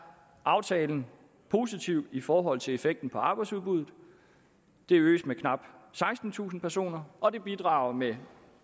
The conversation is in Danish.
aftalen positiv i forhold til effekten på arbejdsudbuddet det øges med knap sekstentusind personer og det bidrager med